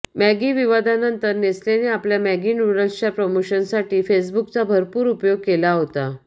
Maggi विवादानंतर नेस्लेने आपल्या मॅगी न्यूडल्सच्या प्रमोशनसाठी फेसबुकचा भरपूर उपयोग केला होता